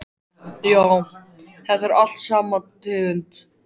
Já, þetta er allt sama tegund.